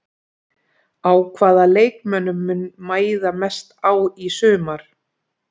Á hvaða leikmönnum mun mæða mest á í sumar?